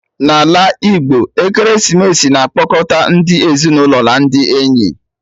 N'ala Igbo, ekeresimesi na-akpọkọta ndi ezinụlọ na ndị enyi